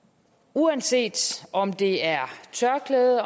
uanset om det er tørklæde